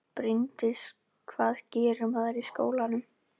Bryndís: Hvað gerir maður í skólanum?